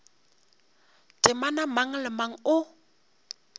temana mang le mang o